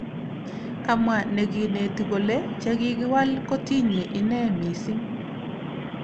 kamwa nekineti kole chekikiwal kotinye ine mising